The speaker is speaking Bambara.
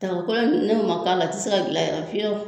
Daga kolon n'o ma k'a la a ti se ka gilan yɛrɛ fiyewu